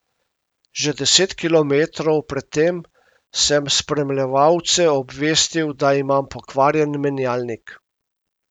Že deset kilometrov pred tem sem spremljevalce obvestil, da imam pokvarjen menjalnik.